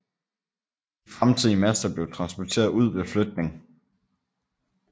De fremtidige master blev transporteret ud ved fløtning